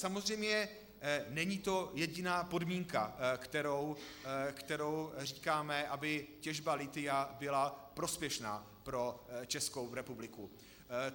Samozřejmě, není to jediná podmínka, kterou říkáme, aby těžba lithia byla prospěšná pro Českou republiku.